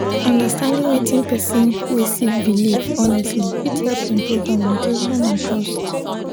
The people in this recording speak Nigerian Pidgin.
understanding wetin person wey sik biliv honestly fit hep improve communication and trust.